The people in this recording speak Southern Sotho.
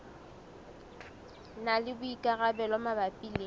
na le boikarabelo mabapi le